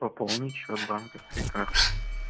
пополнить счёт банковской картой